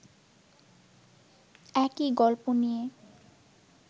একই গল্প নিয়ে